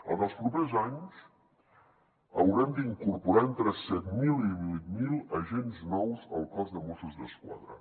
en els propers anys haurem d’incorporar entre set mil i vuit mil agents nous al cos de mossos d’esquadra